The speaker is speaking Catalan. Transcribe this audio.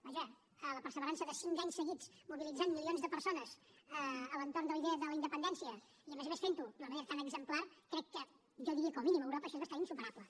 vaja la perseverança de cinc anys seguits mobilitzant milions de persones a l’entorn de la idea de la independència i a més a més fent ho d’una manera tan exemplar crec que jo diria que com a mínim a europa és bastant insuperable